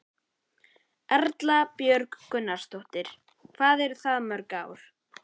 Erla Björg Gunnarsdóttir: Hvað eru það mörg ár?